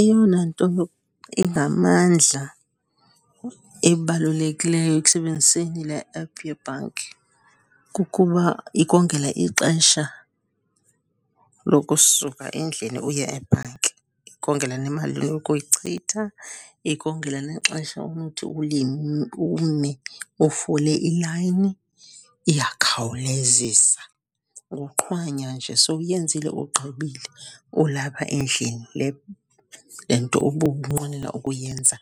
Eyona nto ingamandla ebalulekileyo ekusebenziseni le app yebhanki kukuba ikongela ixesha lokusuka endlini uye ebhanki. Ikongela nemali onokuyichitha, ikongela nexesha onothi ume ufole ilayini. Iyakhawulezisa, nguqhwanya nje sowuyenzile ugqibile ulapha endlini le nto ubunqwenela ukuyenza,